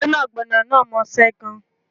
Gbẹ́nàgbẹ́nà náà mọṣe gan